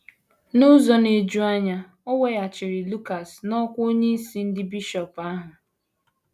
N’ụzọ na - eju anya, e weghachiri Lucaris n’ọkwá onyeisi ndị bishọp ahụ.